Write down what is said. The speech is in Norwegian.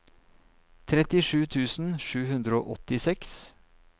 trettisju tusen sju hundre og åttiseks